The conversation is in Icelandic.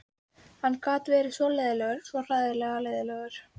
Hann gat verið svo leiðinlegur, svo hræðilega leiðinlegur.